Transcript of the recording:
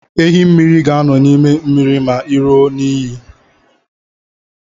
Ehi mmiri ga-anọ n'ime mmiri ma i ruo n'iyi.